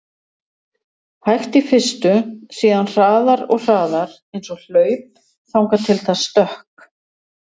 hægt í fyrstu, síðan hraðar og hraðar, eins og hlaup, þangað til það stökk!